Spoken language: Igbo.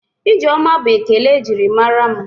Ijeoma bụ ekele e jiri mara mụ.